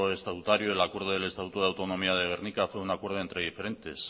estatutario el acuerdo del estatuto de autonomía de gernika fue un acuerdo entre diferentes